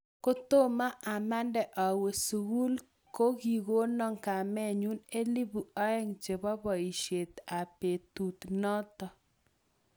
Kotomo amande awo sukul, kikono kamenyu elpu aeng' chebo boishet ab betut noto